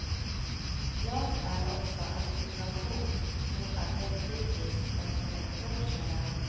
Klart är också att situation nu är mer kritisk än för ett år sedan.